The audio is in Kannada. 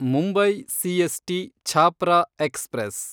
Mumbai CST Chhapra express